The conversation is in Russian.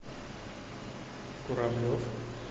куравлев